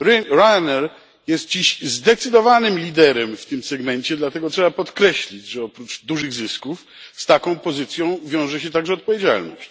Ryanair jest dziś zdecydowanym liderem w tym segmencie, dlatego trzeba podkreślić, że oprócz dużych zysków z taką pozycją wiąże się także odpowiedzialność.